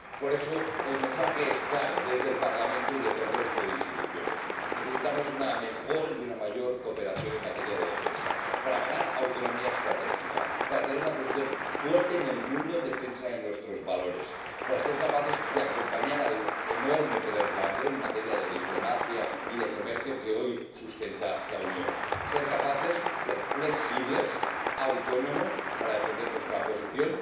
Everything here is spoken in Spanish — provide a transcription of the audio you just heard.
Por eso, el mensaje es claro desde el Parlamento y desde el resto de instituciones necesitamos una mejor y una mayor cooperación en materia de defensa para ganar autonomía estratégica, para tener una posición fuerte en el mundo en defensa de nuestros valores y para ser capaces de acompañar al enorme poder blando en materia de diplomacia y de comercio que hoy sustenta la Unión. Debemos poder ser flexibles y autónomos para defender nuestra posición,